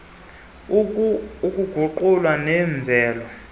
ezinakho ukuguqulwa yimvelo